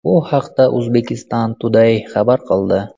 Bu haqda Uzbekistan Today xabar qildi .